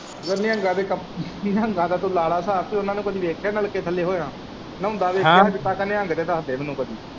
ਵੀ ਲਾ ਲੈ ਸਾਬ ਤੂੰ ਇਹਨਾਂ ਨੂੰ ਕਦੀ ਵੇਖਿਆ ਨਲਕੇ ਥੱਲੇ ਹੋਇਆਂ ਨਹਾਉਂਦਾ ਹਾਂ ਵੇਖਿਆ ਅੱਜ ਤੱਕ ਨਹਾਉਂਦੇ ਤੇ ਦੱਸ ਦੇ ਮੈਨੂੰ ਕੁੱਝ।